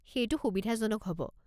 সেইটো সুবিধাজনক হ'ব।